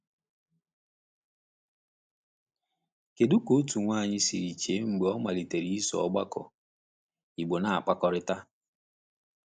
Kedu ka otu nwanyị siri chee mgbe o malitere iso ọgbakọ Igbo na-akpakọrịta?